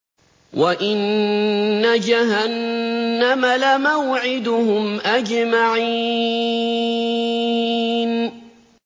وَإِنَّ جَهَنَّمَ لَمَوْعِدُهُمْ أَجْمَعِينَ